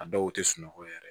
A dɔw tɛ sunɔgɔ yɛrɛ